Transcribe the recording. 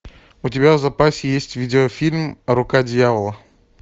у тебя в запасе есть видеофильм рука дьявола